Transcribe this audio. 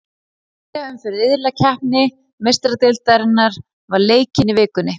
Þriðja umferð riðlakeppni Meistaradeildarinnar var leikin í vikunni.